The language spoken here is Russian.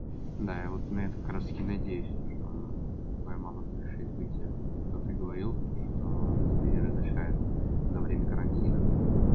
да я вот на это как раз таки надеюсь что твоя мама разрешит выйти что ты говорил то что она тебе не разрешает на время карантина